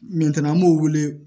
Min tɛna an b'o wele